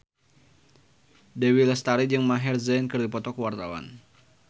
Dewi Lestari jeung Maher Zein keur dipoto ku wartawan